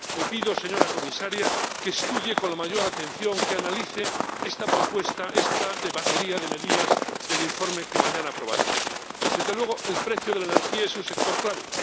Le pido, señora Comisaria, que estudie con la mayor atención, que analice esta propuesta, esta batería de medidas del informe que mañana aprobaremos. Desde luego, el precio de la energía es un sector clave.